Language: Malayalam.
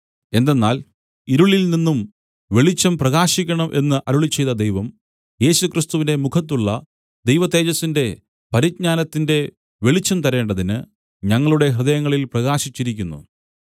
എന്തെന്നാൽ ഇരുളിൽ നിന്നും വെളിച്ചം പ്രകാശിക്കണം എന്ന് അരുളിച്ചെയ്ത ദൈവം യേശുക്രിസ്തുവിന്റെ മുഖത്തുള്ള ദൈവതേജസ്സിന്റെ പരിജ്ഞാനത്തിന്റെ വെളിച്ചം തരേണ്ടതിന് ഞങ്ങളുടെ ഹൃദയങ്ങളിൽ പ്രകാശിച്ചിരിക്കുന്നു